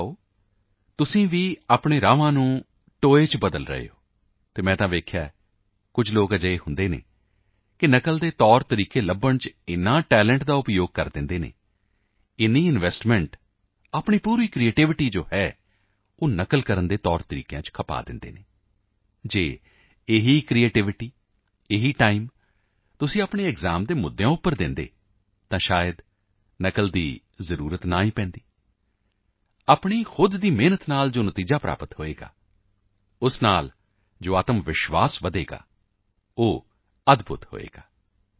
ਮੰਨ ਲਓ ਤੁਸੀਂ ਵੀ ਆਪਣੇ ਰਸਤਿਆਂ ਨੂੰ ਟੋਇਆਂ ਵਿੱਚ ਤਬਦੀਲ ਕਰ ਰਹੇ ਹੋ ਅਤੇ ਮੈਂ ਤਾਂ ਦੇਖਿਆ ਹੈ ਕੁਝ ਲੋਕ ਅਜਿਹੇ ਹੁੰਦੇ ਹਨ ਕਿ ਨਕਲ ਦੇ ਤੌਰ ਤਰੀਕੇ ਲੱਭਣ ਵਿੱਚ ਇੰਨੇ ਟੈਲੈਂਟ ਦਾ ਉਪਯੋਗ ਕਰ ਦਿੰਦੇ ਹਨ ਇੰਨੀ ਇਨਵੈਸਟਮੈਂਟ ਕਰ ਦਿੰਦੇ ਹਨ ਆਪਣੀ ਪੂਰੀ ਕ੍ਰਿਏਟੀਵਿਟੀ ਜੋ ਹੈ ਉਹ ਨਕਲ ਕਰਨ ਦੇ ਤੌਰ ਤਰੀਕਿਆਂ ਵਿੱਚ ਖਪਾ ਦਿੰਦੇ ਹਨ ਜੇਕਰ ਉਹੀ ਕ੍ਰਿਏਟੀਵਿਟੀ ਇਹੀ ਟਾਈਮ ਤੁਸੀਂ ਆਪਣੇ ਐਕਸਾਮ ਦੇ ਮੁੱਦਿਆਂ ਤੇ ਦਿੰਦੇ ਤਾਂ ਸ਼ਾਇਦ ਨਕਲ ਦੀ ਹੀ ਜ਼ਰੂਰਤ ਨਹੀਂ ਪੈਂਦੀ ਆਪਣੀ ਖੁਦ ਦੀ ਮਿਹਨਤ ਨਾਲ ਜੋ ਨਤੀਜੇ ਪ੍ਰਾਪਤ ਹੋਣਗੇ ਉਸ ਤੋਂ ਜੋ ਆਤਮ ਵਿਸ਼ਵਾਸ ਵਧੇਗਾ ਉਹ ਅਦਭੁੱਤ ਹੋਵੇਗਾ